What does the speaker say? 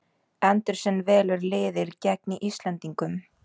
Andersson velur liðið gegn Íslendingum